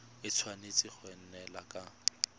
e tshwanetse go neelana ka